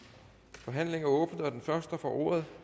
forhandlingen er åbnet og den første der får ordet